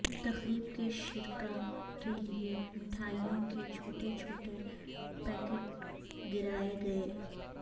تقریب کے شرکا کے لیے مٹھائیوں کے چھوٹے چھوٹے پیکٹ گرائے گئے